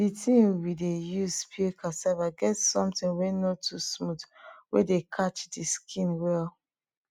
di tin we dey use peel cassava get somtin wey no too smooth wey dey catch di skin well